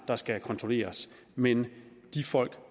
der skal kontrolleres men de folk